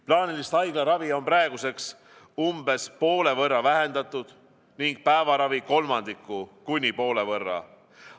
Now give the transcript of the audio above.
Plaanilist haiglaravi on praeguseks umbes poole võrra vähendatud ning päevaravi kolmandiku kuni poole võrra.